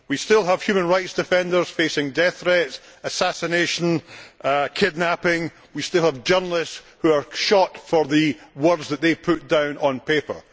We still have human rights defenders facing death threats, assassination, kidnapping. We still have journalists who are shot for the words that they put down on paper.